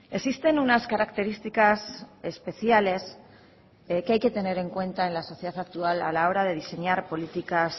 existen unas características especiales que hay que tener en cuenta en la sociedad actual a la hora de diseñar políticas